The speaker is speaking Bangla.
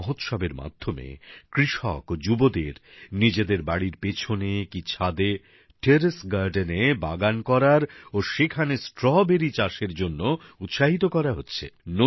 এই মহোৎসবের মাধ্যমে কৃষক ও যুবদের নিজেদের বাড়ির পেছনে কি ছাদে টেরেস গার্ডেনে বাগান করার ও সেখানে স্ট্রবেরী চাষের জন্য উৎসাহিত করা হচ্ছে